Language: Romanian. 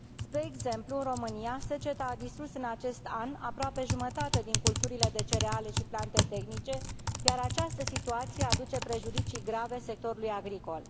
Spre exemplu, în România seceta a distrus în acest an aproape jumătate din culturile de cereale și plante tehnice, iar această situație aduce prejudicii grave sectorului agricol.